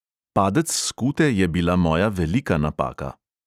Padec s skute je bila moja velika napaka.